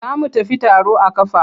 Za mu tafi taro a ƙafa.